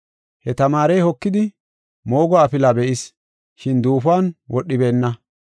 He tamaarey hokidi, moogo afilaa be7is, shin duufuwan wodhibeenna.